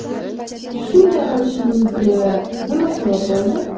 Shunday qilishingizga nima sabab bo‘ldi?